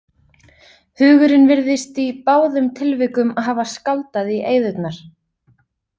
Hugurinn virðist í báðum tilvikum hafa skáldað í eyðurnar.